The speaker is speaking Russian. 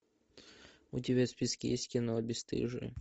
у тебя в списке есть кино бесстыжие